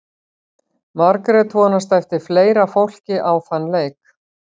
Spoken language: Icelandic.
Margrét vonast eftir fleira fólki á þann leik.